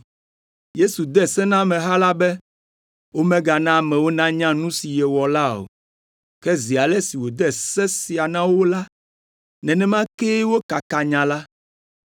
Yesu de se na ameha la be womegana amewo nanya nu si yewɔ la o. Ke zi ale si wòde se sia na wo la, nenema kee wokakaa nya la.